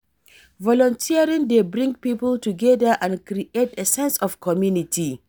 Volunteering dey bring people together and create a sense of community.